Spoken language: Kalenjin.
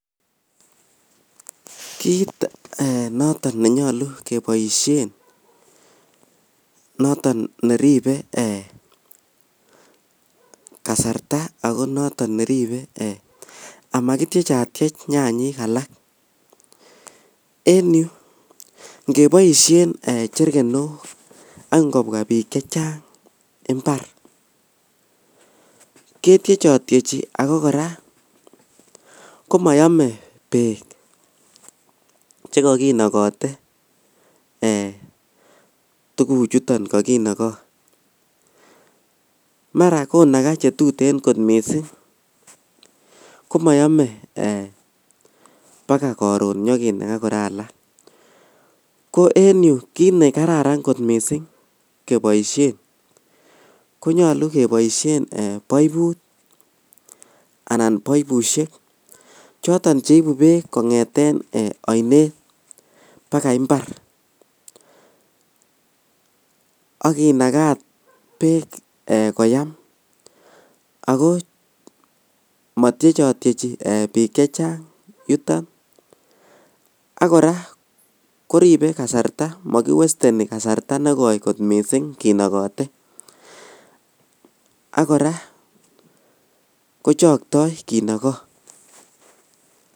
Kit een noton nenyolu keboishen noton neribee ee kasarta ako noton neribe amakitiechatiech nyanyik alak en yu ingeboishen cherkenok ak ingobwa bik chechang imbar ketiechotiechi ako koraa komoyomen beek chekokinokote ee tuguchuton kokinoko makonakaa chetuten komoyome bakaa koron nyokinakaa alak koraa ko en yu kit nekararan kot missing' keboishen konyolu keboishen poiput anan poipushek choton cheibu beek kongeten ee oinet bakai imbar ak kinakat beek ee koyam ako motiechotiechi bik chechang yuton ak koraa koribe kasarta mokiwesteni kasarta negoi kot missing kinokote ak koraa kochoktoi kinoko.